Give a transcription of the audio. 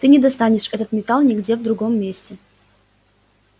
ты не достанешь этот металл нигде в другом месте